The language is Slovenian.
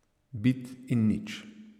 Bit in nič.